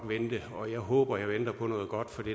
vente og jeg håber at jeg venter på noget godt for det